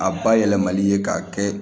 A bayɛlɛmali ye k'a kɛ